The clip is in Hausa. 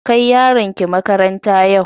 Kai yaronki makaranta yau!